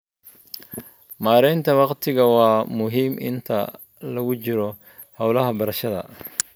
Maareynta waqtigu waa muhiim inta lagu jiro hawlaha beerashada.